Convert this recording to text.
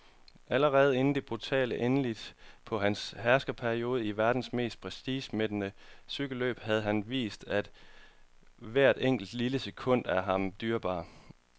Allerede inden det brutale endeligt på hans herskerperiode i verdens mest prestigemættede cykelløb havde han vist, at hvert enkelt, lille sekund er ham dyrebart.